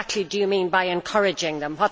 What exactly do you mean by encouraging them?